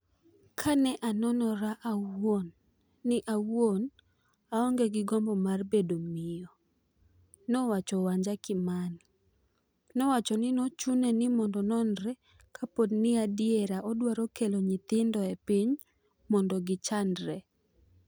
Kane anonora awuon, ni an awuon aonge gi gombo mar bedo miyo' nowacho Wanja Kimani . Nowacho ni nochune ni mondo ononre kapo ni adier odwaro keol nyithindo e piny mondo gi chandre.